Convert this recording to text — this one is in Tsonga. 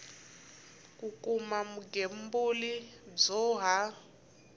ku kuma vugembuli byo ha